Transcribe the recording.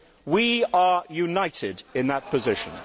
we are united in that position.